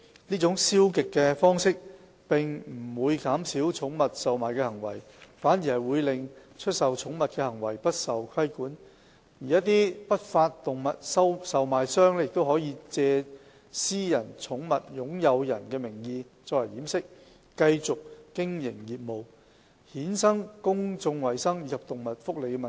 這種消極的方式，並不會減少寵物售賣的行為，反而會令出售寵物的行為不受規管，而一些不法動物售賣商亦可藉私人寵物擁有人的名義作為掩飾，繼續經營業務，衍生公眾衞生及動物福利的問題。